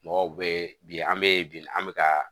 Mɔgɔw be bi an be bi an be kaa